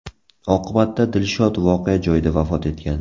Oqibatda Dilshod voqea joyida vafot etgan.